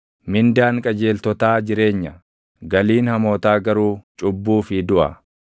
Mindaan qajeeltotaa jireenya; galiin hamootaa garuu cubbuu fi duʼa.